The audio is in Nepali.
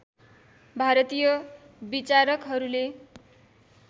भारतीय विचारकहरूले